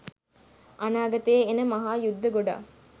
අනාගතයේ එන මහා යුද්ධ ගොඩක්